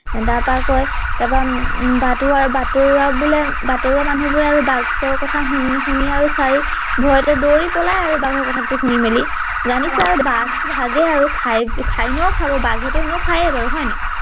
তাৰ পৰা কয় তাৰ পৰা উম বাটৰোৱা বাটৰোৱা বোলে বাটৰোৱা মানুহ বোৰে আৰু বাঘৰ কথা শুনি শুনি আৰু চাই ভয়তে দৌৰি পলাই আৰু বাঘৰ কথাটো শুনি মেলি জানিছে আৰু বাঘ বাঘেই আৰু খায় খায় এনেও খাব বাঘেটো এনেও খাইয়ে বাৰু হয় নাই